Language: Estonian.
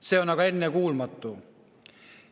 See on ennekuulmatu.